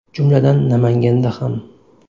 Jumladan, Namanganda ham.